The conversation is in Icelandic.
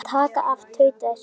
Taka af. tautaði Siggi.